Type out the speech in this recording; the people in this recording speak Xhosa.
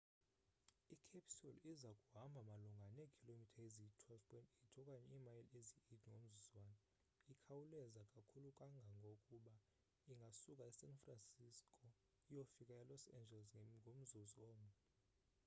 i-capsule iza kuhamba malunga neekhilomitha eziyi-12.8 okanye imayile eziyi-8 ngomzuzwana ikhawuleza kakhulu kangangokuba ingasuka esan francisco iyofika elos angeles ngomzuzu omnye